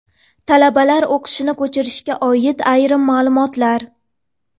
Talabalar o‘qishini ko‘chirishga oid ayrim maʼlumotlar.